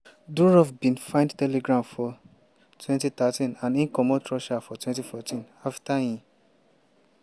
durov bin find telegram for 2013 and e comot russia for 2014 afta e